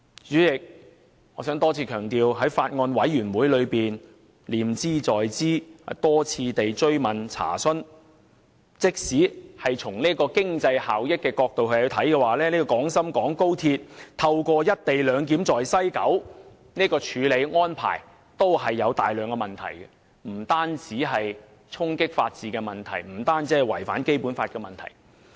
主席，我想再次強調，我在法案委員會念茲在茲，多次追問和查詢，即使從經濟效益的角度來看，高鐵在西九龍站的"一地兩檢"安排也存在大量問題，而且並非單純衝擊法治及違反《基本法》的問題。